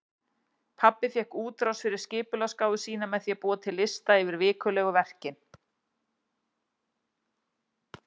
Pabbi fékk útrás fyrir skipulagsgáfu sína með því að búa til lista yfir vikulegu verkin.